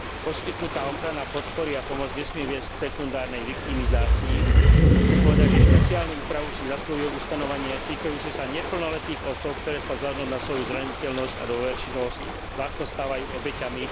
Poskytnutá ochrana podpory a pomoc nesmie viesť k sekundárnej viktimizácii a chcem povedať, že špeciálnu úpravu si zasluhuje ustanovenie týkajúce sa neplnoletých osôb, ktoré sa vzhľadom na svoju zraniteľnosť a dôverčivosť ľahko stávajú obeťami.